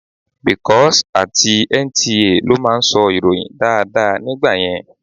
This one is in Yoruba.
Bcos àti NTA ló máa ń sọ ìròyìn dáadáa nígbà yẹn.